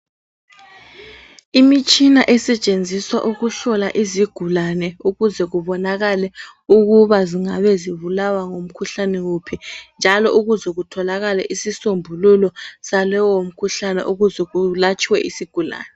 Imitshina esentshenziswa ukuhlola izigulani ukuze kubonakale ukuba zingaba zibulawa ngumkhuhlane wuphi njalo ukuze kutholakale isinsombulelo salowo mkhuhlane ukuze kulatshwe isigulani.